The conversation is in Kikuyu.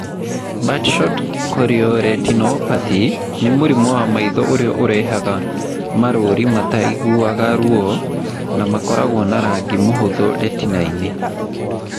Birdshot chorioretinopathy nĩ mũrimũ wa maitho ũrĩa ũrehaga marũũri mataiguaga ruo na makoragwo na rangi mũhũthũ retina-inĩ.